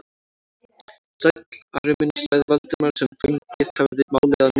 Sæll, Ari minn sagði Valdimar sem fengið hafði málið að nýju.